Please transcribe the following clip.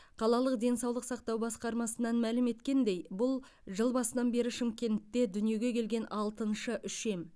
қалалық денсаулық сақтау басқармасынан мәлім еткендей бұл жыл басынан бері шымкентте дүниеге келген алтыншы үшем